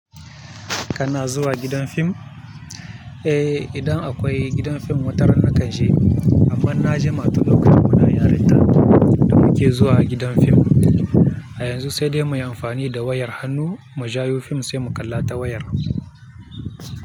Kana zuwa gidan fim? Eh, idan akwai gidan fim wata ran nakan je. Amma na jima tun lokacin muna yaritna da muke zuwa gidan fim. A yanzu sai dai muyi amfani da wayar hannu mu jayo fim sai mu kalla ta wayar.